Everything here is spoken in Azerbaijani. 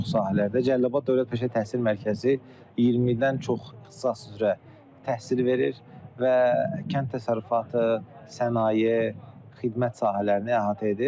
Bir çox sahələrdə Cəlilabad Dövlət Peşə Təhsil Mərkəzi 20-dən çox ixtisas üzrə təhsil verir və kənd təsərrüfatı, sənaye, xidmət sahələrini əhatə edir.